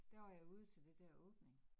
Der var jeg ude til det dér åbning